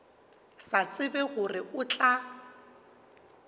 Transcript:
sa tsebe gore o tla